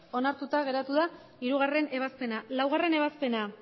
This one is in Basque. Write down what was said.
onartuta geratu da hirugarrena ebazpena laugarrena ebazpena